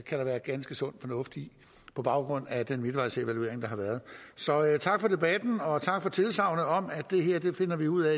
der være ganske sund fornuft i på baggrund af den midtvejsevaluering der har været så tak for debatten og tak for tilsagnet om at det her finder vi ud